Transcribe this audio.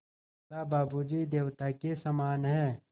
बोला बाबू जी देवता के समान हैं